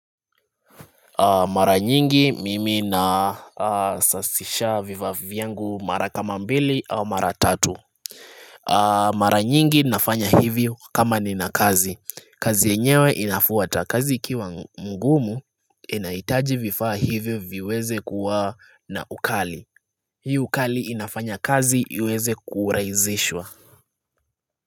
Mara nyingi mimi nasafisha vifaa vyangu mara kama mbili au mara tatu Mara nyingi nafanya hivyo kama nina kazi. Kazi yenyewe inafuata kazi ikiwa ngumu inahitaji vifaa hivyo viweze kuwa na ukali Hii ukali inafanya kazi iweze kurahisishwa.